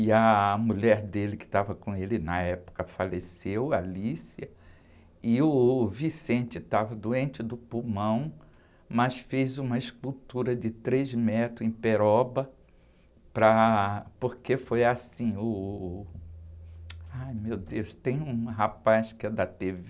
e a mulher dele que estava com ele na época faleceu, e uh, o estava doente do pulmão, mas fez uma escultura de três metros em peroba, para, porque foi assim, ai meu Deus, tem um rapaz que é da tê-vê,